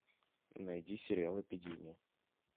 найди сериал эпидемия